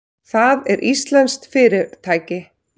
Það er íslenskt fyrirtæki.